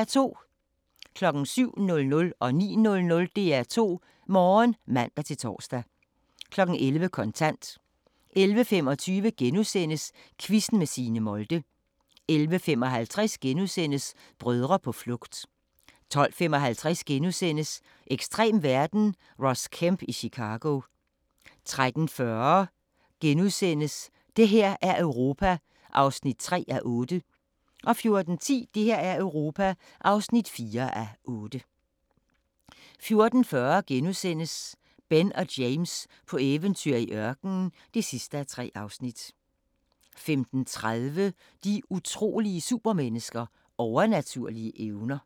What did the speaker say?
07:00: DR2 Morgen (man-tor) 09:00: DR2 Morgen (man-tor) 11:00: Kontant 11:25: Quizzen med Signe Molde * 11:55: Brødre på flugt * 12:55: Ekstrem verden – Ross Kemp i Chicago * 13:40: Det her er Europa (3:8)* 14:10: Det her er Europa (4:8) 14:40: Ben og James på eventyr i ørkenen (3:3)* 15:30: De utrolige supermennesker – Overnaturlige evner